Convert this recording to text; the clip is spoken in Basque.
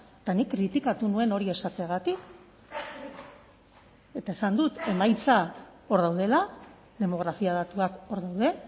eta nik kritikatu nuen hori esateagatik eta esan dut emaitzak hor daudela demografia datuak hor daude